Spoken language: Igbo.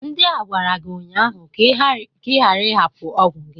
Ndị a gwara gi ụnyaahụ ka ị ghara ịhapụ ọgwụgwọ gị!